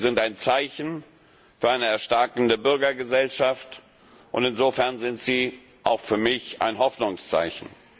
Sie sind ein Zeichen für eine erstarkende Bürgergesellschaft und insofern sind sie auch für mich ein Hoffnungszeichen.